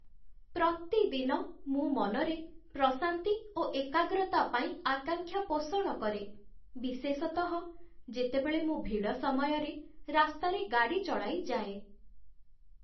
ପ୍ରତିଦିନ ମୁଁ ମନରେ ପ୍ରଶାନ୍ତି ଓ ଏକାଗ୍ରତା ପାଇଁ ଆକାଂକ୍ଷା ପୋଷଣ କରେ, ବିଶେଷତଃ ଯେତେବେଳେ ମୁଁ ଭିଡ଼ ସମୟରେ ରାସ୍ତାରେ ଗାଡ଼ି ଚଳାଇ ଯାଏ।